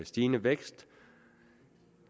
stigende vækst